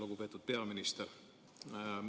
Lugupeetud peaminister!